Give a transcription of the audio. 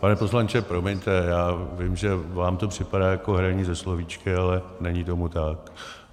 Pane poslanče, promiňte, já vím, že vám to připadá jako hraní se slovíčky, ale není tomu tak.